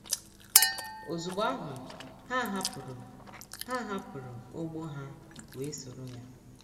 “ Ozugbo ahụ, ha hapụrụ ha hapụrụ ụgbụ ha wee soro ya. ”